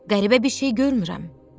Qəribə bir şey görmürəm.